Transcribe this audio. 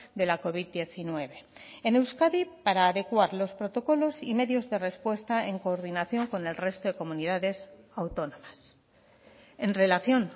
de la covid diecinueve en euskadi para adecuar los protocolos y medios de respuesta en coordinación con el resto de comunidades autónomas en relación